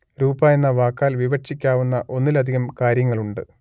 രൂപ എന്ന വാക്കാൽ വിവക്ഷിക്കാവുന്ന ഒന്നിലധികം കാര്യങ്ങളുണ്ട്